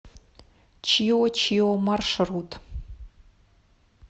чио чио маршрут